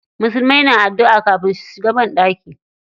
Musulmai na adduʼa kafin su shiga banɗaki.